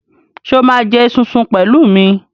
Sọ ma jẹ esunsun pẹ̀lú mi?